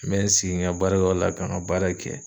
N bɛ n sigi n ka baarayɔrɔ la ka n ka baara kɛ.